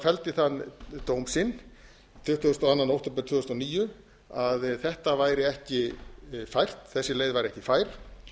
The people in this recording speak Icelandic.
felldi þann dóm sinn tuttugasta og önnur október tvö þúsund og níu að þetta væri ekki fært þessi leið væri ekki fær